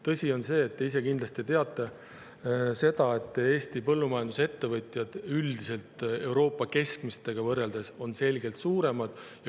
Tõsi on see, te ka kindlasti teate seda, et Eesti põllumajandusettevõtted on üldiselt Euroopa keskmisega võrreldes selgelt suuremad.